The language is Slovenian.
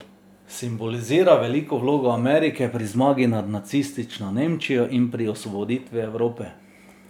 Simbolizira veliko vlogo Amerike pri zmagi nad nacistično Nemčijo in pri osvoboditvi Evrope.